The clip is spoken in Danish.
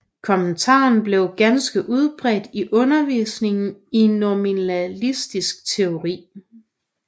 Kommentaren blev ganske udbredt i undervisningen i nominalistisk teologi